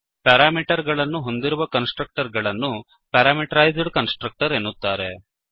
parameter ಗಳನ್ನು ಹೊಂದಿರುವ constructor ಅನ್ನು ಪ್ಯಾರಾಮೀಟರೈಜ್ಡ್ ಕನ್ಸ್ ಟ್ರಕ್ಟರ್ ಎನ್ನುತ್ತಾರೆ